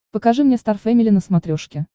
покажи мне стар фэмили на смотрешке